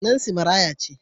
Nancy maraya ce.